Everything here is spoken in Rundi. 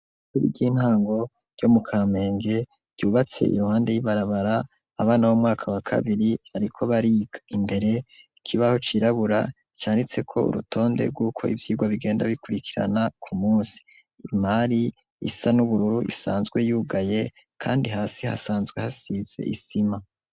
Ishure ry'intango ryo mu kamenge ryubatse iruhande y'ibarabara abana bomwaka wa kabiri bariko bariga imbere ku kibaho cirabura canditse ko urutonde rwuko ivyigwa bigenda bikurikirana ku munsi imari isa n'ubururu isanzwe yugaye kandi hasi hasanzwe hasize isima.